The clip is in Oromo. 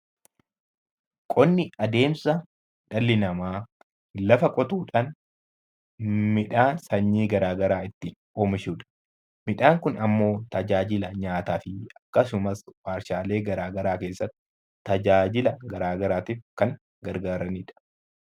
Qonni adeemsa dhalli namaa lafa qotuudhaan midhaan sanyii garaagaraa ittiin oomishudha. Midhaan Kun immoo tajaajila nyaataaf akkasumas warshaalee garaagaraa keessatti tajaajila garaagaraatiif kan gargaaranidha.